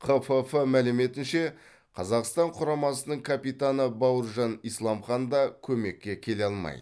қфф мәліметінше қазақстан құрамасының капитаны бауыржан исламхан да көмекке келе алмайды